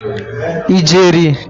ijeri